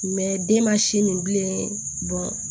den ma si min bilen